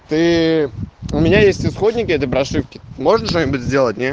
ты у меня есть исходники этой прошивки можно что-нибудь сделать не